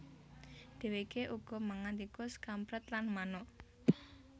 Dèwèké uga mangan tikus kamprèt lan manuk